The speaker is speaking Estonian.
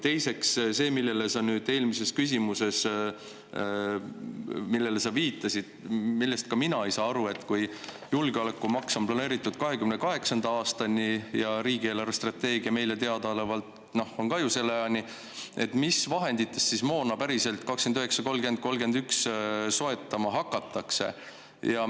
Teiseks see, millele sa eelmisele küsimusele vastates viitasid ja millest ka mina aru ei saa: kui julgeolekumaks on planeeritud 2028. aastani ja ka riigi eelarvestrateegia meile teadaolevalt ju selle ajani, mis vahenditest siis moona päriselt 2029, 2030, 2031 soetama hakatakse?